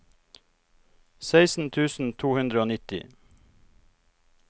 seksten tusen to hundre og nitti